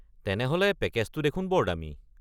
তেনেহ’লে পেকেজটো দেখোন বৰ দামী।